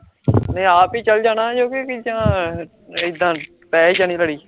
ਮੈਂ ਆਪ ਈ ਚਲ ਜਾਣਾ ਪੈ ਈ ਜਾਣੀ ਆ ਲੜੀ